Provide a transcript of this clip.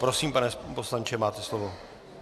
Prosím, pane poslanče, máte slovo.